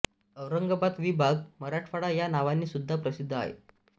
औरंगाबाद विभाग मराठवाडा या नावाने सुद्धा प्रसिद्ध आहे